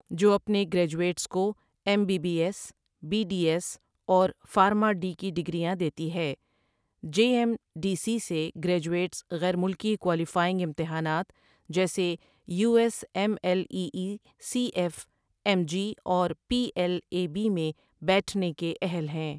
جو اپنے گریجویٹس کو M B B S, B D S اور فارما ڈی کی ڈگریاں دیتی ہے جے ایم ڈی سی سے گریجویٹس غیر ملکی کوالیفائنگ امتحانات جیسے U S M L E E C F M G اور پی ایل اے بی میں بیٹھنے کے اہل ہیں۔